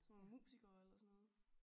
Nogle musikere eller sådan noget